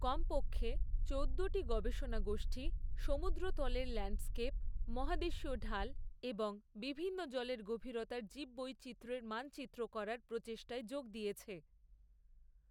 কমপক্ষে চোদ্দোটি গবেষণা গোষ্ঠী সমুদ্রতলের ল্যান্ডস্কেপ, মহাদেশীয় ঢাল এবং বিভিন্ন জলের গভীরতার জীববৈচিত্র্যের মানচিত্র করার প্রচেষ্টায় যোগ দিয়েছে।